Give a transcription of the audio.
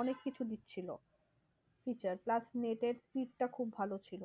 অনেককিছু দিচ্ছিলো features plus net এর speed টা খুব ভালো ছিল।